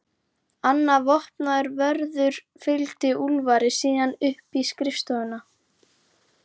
Annar vopnaður vörður fylgdi Úlfari síðan upp í skrifstofuna.